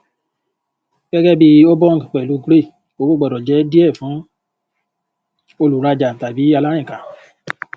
gẹgẹ bí obong pẹlú grey owó gbọdọ jẹ díẹ fún olùrajà tàbí alárìnká